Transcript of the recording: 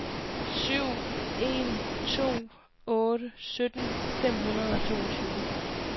syv en to otte sytten fem hundrede og toogtyve